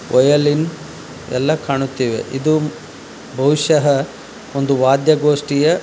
Violin ಎಲ್ಲಾ ಕಾಣುತ್ತಿವೆ ಇದು ಬಹುಶಹ ಒಂದು ವಾದ್ಯಗೋಷ್ಠಿಯ.